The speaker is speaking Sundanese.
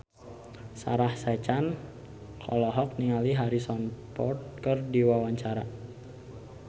Sarah Sechan olohok ningali Harrison Ford keur diwawancara